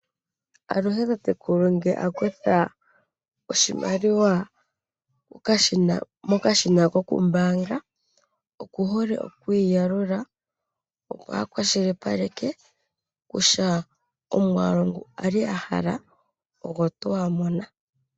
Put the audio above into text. Aluhe tatekulu ngele a kutha oshimaliwa mokashina ko kumbaanga oku hole oku yi yalula, opo a kwashilipaleke kutya omwaalu ngu ali a hala ogo tuu a mona.